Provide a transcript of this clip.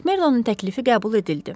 Makmerdonun təklifi qəbul edildi.